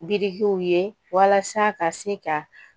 Birikiw ye walasa ka se ka